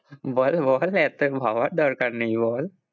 বল বল এত ভাবার দরকার নেই বল।